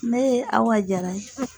Ne ye Awa Jara ye.